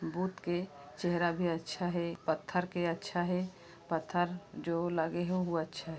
बुद्ध के चेहरा भी अच्छा हे पत्थर के अच्छा हे पत्थर जो लगे हे ओहु अच्छा --